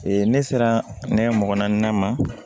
ne sera ne mɔgɔ naani ma